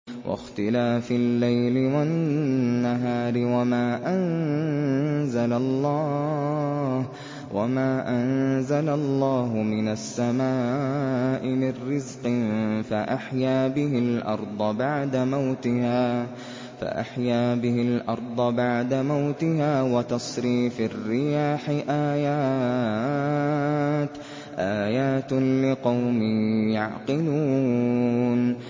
وَاخْتِلَافِ اللَّيْلِ وَالنَّهَارِ وَمَا أَنزَلَ اللَّهُ مِنَ السَّمَاءِ مِن رِّزْقٍ فَأَحْيَا بِهِ الْأَرْضَ بَعْدَ مَوْتِهَا وَتَصْرِيفِ الرِّيَاحِ آيَاتٌ لِّقَوْمٍ يَعْقِلُونَ